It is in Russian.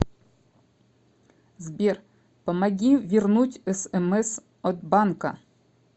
сбер помоги вернуть смс от банка